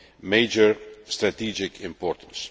major strategic importance.